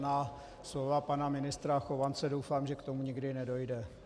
Na slova pana ministra Chovance - doufám, že k tomu nikdy nedojde.